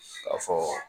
Ka fɔ